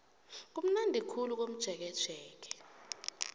kumnandi khulu komjekejeke